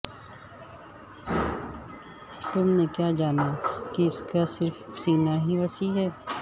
تم نے کیا جانا کہ صرف اس کا سینہ ہی وسیع ہے